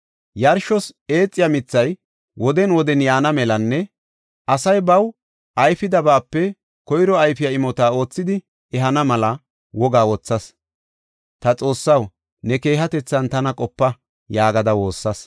Yarshos eethiya mithay woden woden yaana melanne asay baw ayfidabape koyro ayfiya imota oothidi ehana mela wogaa wothas. “Ta Xoossaw, ne keehatethan tana qopa” yaagada woossas.